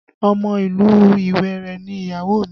Ọmọ ìlú Ìwéré ni ìyàwó mi